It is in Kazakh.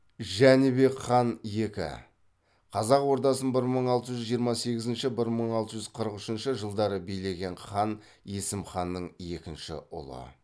жәнібек хан екі қазақ ордасын бір мың алты жүз жиырма сегізінші бір мың алты жүз қырық үшінші жылдары билеген хан есім ханның екінші ұлы